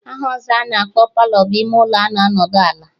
Aha ọzọ a na-akpọ Palọ bụ ime ụlọ a na-anọdụ ala